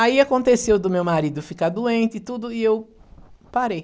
Aí aconteceu do meu marido ficar doente e tudo, e eu parei.